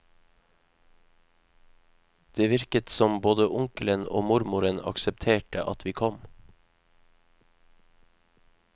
Det virket som både onkelen og mormoren aksepterte at vi kom.